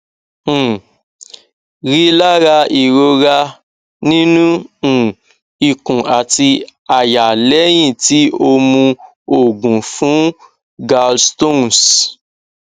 um rilara irora ninu um ikun ati àyà lẹhin ti o mu oogun fun gallstones